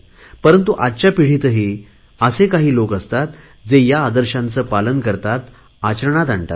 परंतु आजच्या पिढीतही असे काही लोक असतात जे या आदर्शांचे पालन करतात आचरणात आणतात